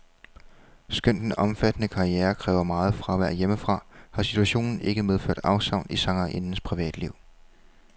Skønt den omfattende karriere kræver meget fravær hjemmefra, har situationen ikke medført afsavn i sangerindens privatliv.